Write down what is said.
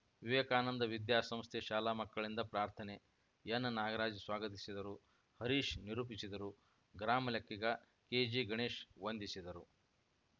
ವಿವೇಕಾನಂದ ವಿದ್ಯಾ ಸಂಸ್ಥೆ ಶಾಲಾ ಮಕ್ಕಳಿಂದ ಪ್ರಾರ್ಥನೆ ಎನ್‌ನಾಗರಾಜ್‌ ಸ್ವಾಗತಿಸಿದರು ಹರೀಶ್‌ ನಿರೂಪಿಸಿದರು ಗ್ರಾಮಲೆಕ್ಕಿಗ ಕೆಜಿಗಣೇಶ್‌ ವಂದಿಸಿದರು